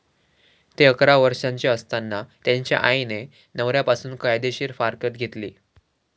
ते अकरा वर्षांचे असताना त्यांच्या आईने नवऱ्यापासून कायदेशीर फारकत घेतली.